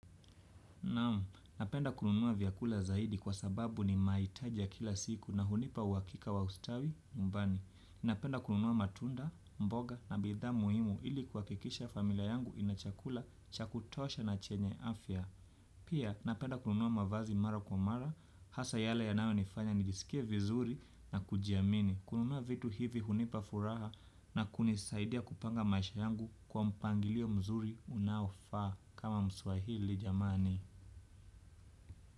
Naam, napenda kununua vyakula zaidi kwa sababu ni mahitaji kila siku na hunipa uhakika wa ustawi mbani. Napenda kununua matunda, mboga na bidhaa muhimu ili kuhakikisha familia yangu ina chakula cha kutosha na chenye afya. Pia, napenda kununua mavazi mara kwa mara, hasa yale yanayo nifanya nijisikie vizuri na kujiamini. Kununua vitu hivi hunipa furaha na kunisaidia kupanga maisha yangu kwa mpangilio mzuri unaofaa kama mswahili jamani.